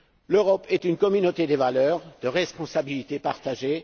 L'Europe est une communauté de valeurs, de responsabilités partagées.